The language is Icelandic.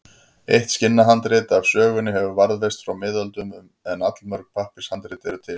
Eitt skinnhandrit af sögunni hefur varðveist frá miðöldum en allmörg pappírshandrit eru til.